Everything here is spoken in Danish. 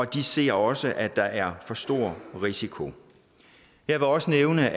de ser også at der er for stor risiko jeg vil også nævne